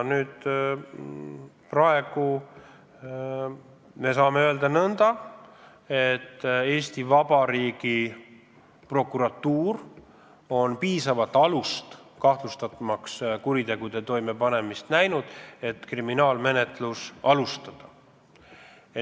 Praegu me saame öelda nõnda, et Eesti Vabariigi prokuratuuril on piisavalt alust kahtlustada kuritegude toimepanemist ja alustada kriminaalmenetlust.